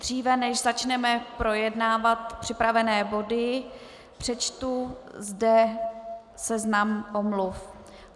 Dříve než začneme projednávat připravené body, přečtu zde seznam omluv.